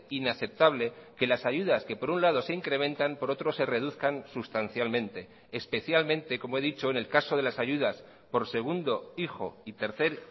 inaceptable que las ayudas que por un lado se incrementan por otro se reduzcan sustancialmente especialmente como he dicho en el caso de las ayudas por segundo hijo y tercer